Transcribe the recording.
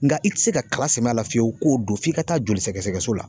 Nga i ti se ka kala sɛmɛ a la fiyewu k'o don f'i ka taa joli sɛgɛsɛgɛ so la.